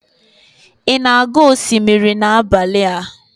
ị na-aga osimiri n'abalị a?